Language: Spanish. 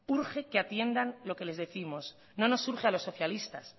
urge que atiendan lo que les décimos no nos urge a los socialistas